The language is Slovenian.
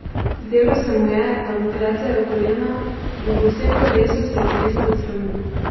Zdelo se mu je, da mu klecajo kolena, in po vsem telesu se je tresel od sramu.